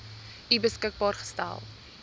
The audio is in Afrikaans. u beskikbaar gestel